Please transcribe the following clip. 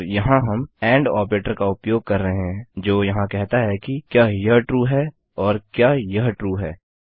और यहाँ हम एंड ऑपरेटर का उपयोग कर रहे हैं जो यहाँ कहता है कि क्या यह ट्रू है और क्या यह ट्रू है